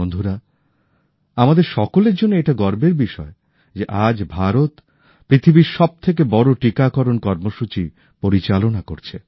বন্ধুরা আমাদের সকলের জন্য এটা গর্বের বিষয় যে আজ ভারত পৃথিবীর সবথেকে বড় টিকাকরণ কর্মসূচি পরিচালনা করছে